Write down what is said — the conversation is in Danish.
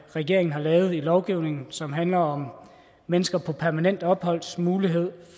regeringen har lavet i lovgivningen og som handler om mennesker på permanent opholds mulighed